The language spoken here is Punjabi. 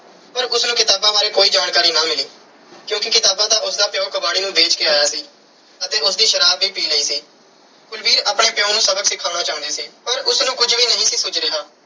ਪਰ ਉਸ ਨੂੰ ਕਿਤਾਬਾਂ ਬਾਰੇ ਕੋਈ ਜਾਣਕਾਰੀ ਨਾ ਮਿਲੀ ਕਿਉਂਕਿ ਕਿਤਾਬਾਂ ਤਾਂ ਉਸ ਦਾ ਪਿਉ ਕਬਾੜੀ ਨੂੰ ਵੇਚ ਕੇ ਆਇਆ ਸੀ ਅਤੇ ਉਸ ਦੀ ਸ਼ਰਾਬ ਵੀ ਪੀ ਲਈ ਸੀ। ਕੁਲਵੀਰ ਆਪਣੇ ਪਿਉ ਨੂੰ ਸਬਕ ਸਿਖਾਉਣਾ ਚਾਹੁੰਦੀ ਸੀ ਪਰ ਉਸ ਨੂੰ ਕੁਝ ਵੀ ਨਹੀਂ ਸੀ ਸੁੱਝ ਰਿਹਾ।